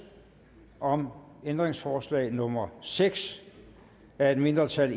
om ændringsforslag nummer seks af et mindretal